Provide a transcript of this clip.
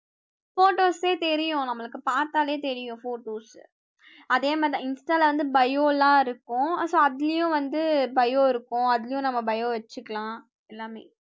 Photos சே தெரியும். நம்மளுக்கு பார்த்தாலே தெரியும் photos அதே மாதிரிதான insta ல வந்து bio எல்லாம் இருக்கும் so அதுலயும் வந்து bio இருக்கும் அதுலயும் நம்ம bio வச்சுக்கலாம் எல்லாமே